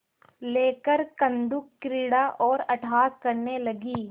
लेकर कंदुकक्रीड़ा और अट्टहास करने लगी